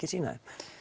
sýna þeim